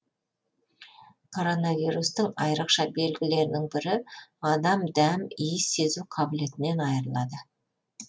коронавирустың айрықша белгілерінің бірі адам дәм иіс сезу қабілетінен айырылады